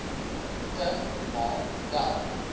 te maak dat